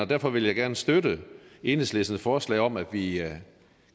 derfor vil jeg gerne støtte enhedslistens forslag om at vi